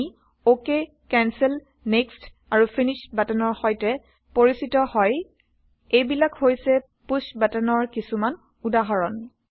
আমি OK cancel Next160 আৰু Finish160বাটনৰ সৈতে পৰিচিত হয় এইবিলাক হৈছে পুশ্ব বাটনৰ কিছুমান উদাহৰণ